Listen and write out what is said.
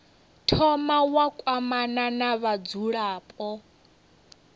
thoma wa kwamana na vhadzulapo